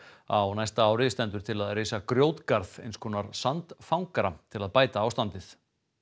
á næsta ári stendur til að reisa grjótgarð eins konar sandfangara til að bæta ástandið